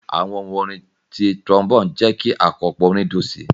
Awọn ohun orin ti trombone jẹ ki akopọ orin dun si.